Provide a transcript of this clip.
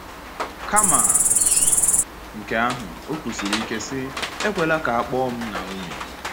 Kama nke ahụ, o kwusiri ike sị: “Ekwela ka a kpọọ m Naomi.”